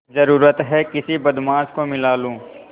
जरुरत हैं किसी बदमाश को मिला लूँ